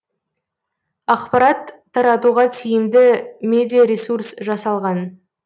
ақпарат таратуға тиімді медиаресурс жасалған